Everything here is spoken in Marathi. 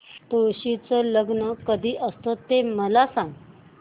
तुळशी चे लग्न कधी असते ते मला सांग